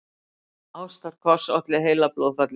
Ástarkoss olli heilablóðfalli